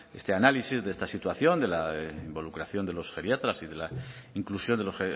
este análisis de esta situación de la involucración de los geriatras y de la inclusión de los